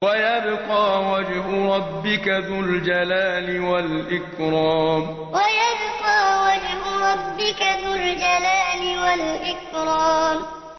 وَيَبْقَىٰ وَجْهُ رَبِّكَ ذُو الْجَلَالِ وَالْإِكْرَامِ وَيَبْقَىٰ وَجْهُ رَبِّكَ ذُو الْجَلَالِ وَالْإِكْرَامِ